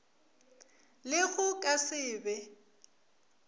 le go ka se be